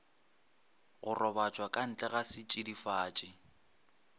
go robatšwa ka ntlega setšidifatši